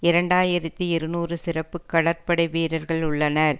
இரண்டு ஆயிரத்தி இருநூறு சிறப்பு கடற்படைவீரர்கள் உள்ளனர்